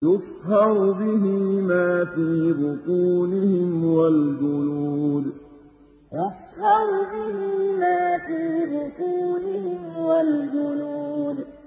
يُصْهَرُ بِهِ مَا فِي بُطُونِهِمْ وَالْجُلُودُ يُصْهَرُ بِهِ مَا فِي بُطُونِهِمْ وَالْجُلُودُ